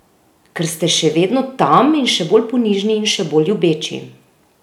Ker ste še vedno tam in še bolj ponižni in še bolj ljubeči!